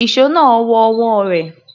Ìṣó náà wọ ọwọ́ rẹ̀.